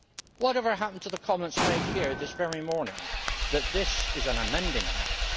Whatever happened to the comments made here this very morning that this is an amending House?